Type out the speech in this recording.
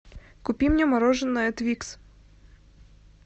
купи мне мороженое твикс